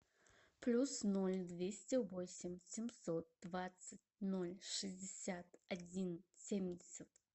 плюс ноль двести восемь семьсот двадцать ноль шестьдесят один семьдесят